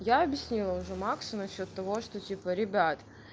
я объяснила уже максу насчёет того что типа ребят